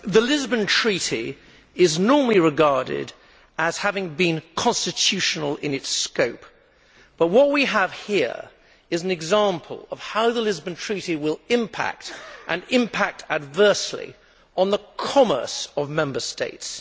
Madam President, the Lisbon Treaty is normally regarded as having been constitutional in its scope but what we have here is an example of how the Lisbon Treaty will impact, and impact adversely, on the commerce of Member States.